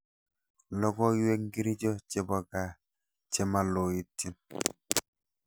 logoywek ngircho chebo gaa chemaloityen